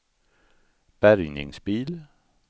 bärgningsbil